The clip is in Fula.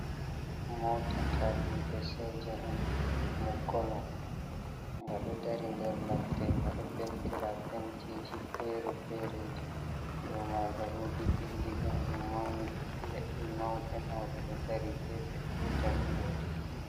Mota tadiɓe Soja'en ngal konu. nga ɗo Dari nder ladde nga ɗo Pentira Pentiji fere-fereji. dou maga wodi Bindigaru maundu, Ledɗe mauɗe mauɗe ɗo dari gefe gotal yori.